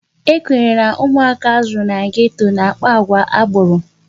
Ekwenyere na ụmụaka azụrụ na geto na-akpa àgwà agboro.